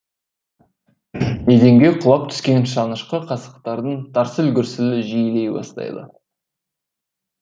еденге құлап түскен шанышқы қасықтардың тарсыл гүрсілі жиілей бастайды